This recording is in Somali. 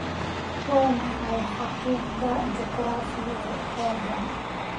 waa maxay xaqiiqda juquraafi ee aaggan